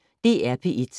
DR P1